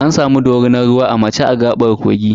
An samu dorinar ruwa a mace a gaɓar kogi.